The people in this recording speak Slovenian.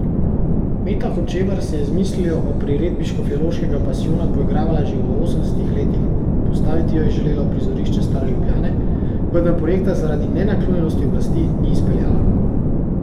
Meta Hočevar se je z mislijo o priredbi Škofjeloškega pasijona poigravala že v osemdesetih letih, postaviti jo je želela v prizorišče stare Ljubljane, vendar projekta zaradi nenaklonjenosti oblasti ni izpeljala.